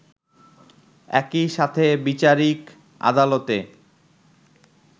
একই সাথে বিচারিক আদালতে